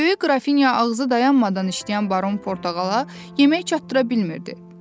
Böyük qrafinya ağzı dayanmadan işləyən baron portağala yemək çatdıra bilmirdi.